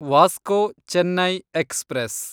Vasco Chennai express